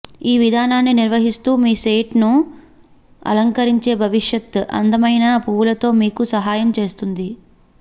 ఈ విధానాన్ని నిర్వహిస్తూ మీ సైట్ను అలంకరించే భవిష్యత్ అందమైన పువ్వులలో మీకు సహాయం చేస్తుంది